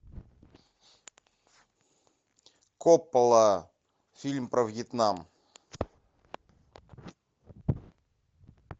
коппола фильм про вьетнам